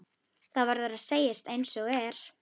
Það verður að segjast einsog er.